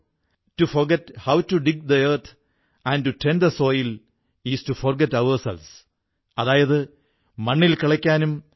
ആരെങ്കിലും സലൂണിലെത്തി തന്റെ തവണയ്ക്കായി കാത്തിരിക്കുമ്പോൾ എന്തെങ്കിലും വായിക്കുകയും വായിച്ചതിനെക്കുറിച്ച് അല്പം എഴുതുകയും ചെയ്യുകയാണെങ്കിൽ മാരിയപ്പൻ ആ ആളിന് അൽപ്പം ഡിസ്കൌണ്ട് കിഴിവ് കൊടുക്കുന്നു